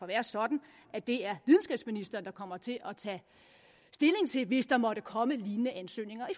være sådan at det er videnskabsministeren der kommer til at tage stilling til det hvis der måtte komme lignende ansøgninger i